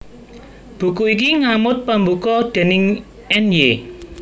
Buku iki ngamot pambuka déning Ny